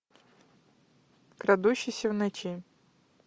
крадущийся в ночи